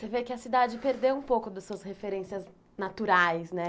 Você vê que a cidade perdeu um pouco das suas referências naturais, né?